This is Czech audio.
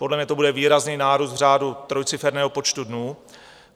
Podle mě to bude výrazný nárůst v řádu trojciferného počtu dnů.